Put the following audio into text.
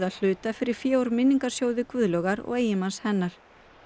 hluta fyrir fé úr minningarsjóði Guðlaugar og eiginmanns hennar